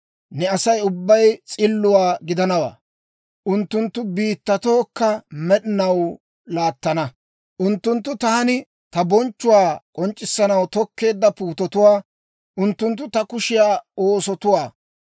Ne Asay ubbay s'illuwaa gidanawaa; unttunttu biittatookka med'inaw laattana. Unttunttu taani ta bonchchuwaa k'onc'c'issanaw tokkeedda puutetuwaa; unttunttu ta kushiyaa oosotuwaa.